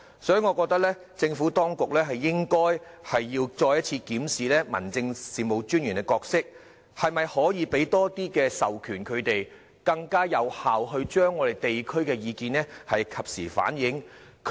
所以，我覺得政府當局應該再次檢視民政事務專員的角色，看看可否向他們授予更多權力，使他們能更有效地及時反映地區意見？